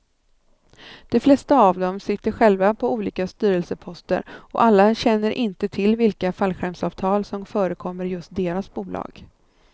De flesta av dem sitter själva på olika styrelseposter och alla känner inte till vilka fallskärmsavtal som förekommer i just deras bolag.